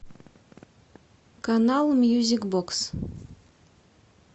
канал мьюзик бокс